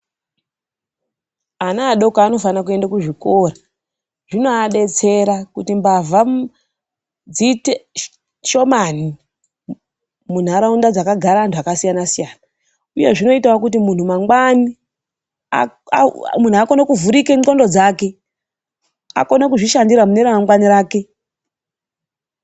Ana adoko anofanira kuende kuzvikora. Zvinoadetsera kuti mbavha dziite shomani munharaunda dzakagara antu akasiyana siyana. Uyezve zvinoitawo kuti muntu mangwani akone kuvhurika ndxondo dzake. Akone kuzvishandira mune ramangwani rake.